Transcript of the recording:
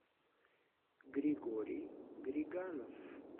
григорий григанов